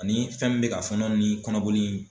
Ani fɛn min bɛ ka fɔnɔ ni kɔnɔboli